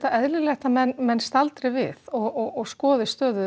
eðlilegt að menn menn staldri við og skoði stöðuna